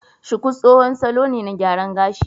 Shuku tsohon salo ne na gyaran gashi